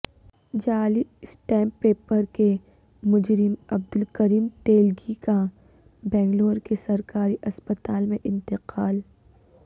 جعلی stamp paper کے مجرم عبدالکریم تیلگی کا بنگلورو کے سرکاری اسپتال میں انتقال